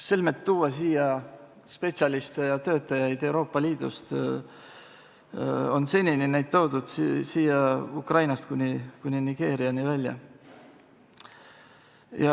Selmet tuua siia spetsialiste ja töötajaid Euroopa Liidust, on senini neid toodud siia Ukrainast kuni Nigeeriani välja.